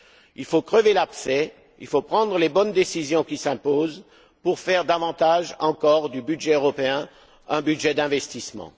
Il faut crever l'abcès, il faut prendre les bonnes décisions qui s'imposent pour faire davantage encore du budget européen un budget d'investissement.